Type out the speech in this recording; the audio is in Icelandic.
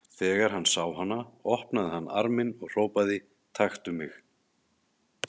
Þegar hann sá hana opnaði hann arminn og hrópaði: Taktu mig!